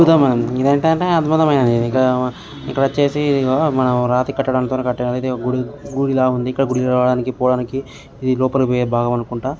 ఇది ఏంటంటే అధ్బుతమే ఇక్కడ చేసి మనం రాతి కట్టడానికి ఇది ఒక గుడి-గుడి లాగా ఉంది .ఇక్కడ రావడానికి పోవడానికి ఇది లోపలికి పోయే భాగం అనుకుంట.